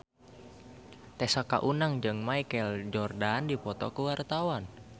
Tessa Kaunang jeung Michael Jordan keur dipoto ku wartawan